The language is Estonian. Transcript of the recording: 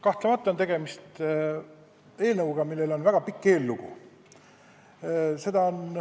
Kahtlemata on tegemist eelnõuga, millel on väga pikk eellugu.